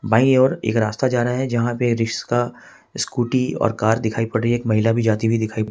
by ओर एक रास्ता जा रहा है जहां पे रिक्शा स्कूटी और कार दिखाई पड़ रही एक महिला भी जाती हुई दिखाई--